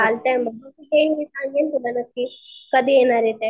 चालतंय मग सांगेन तुला नक्कीच. कधी येणार ये ते.